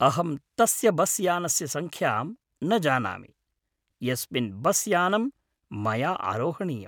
अहं तस्य बस् यानस्य संख्यां न जानामि यस्मिन् बस् यानं मया आरोहणीयम्।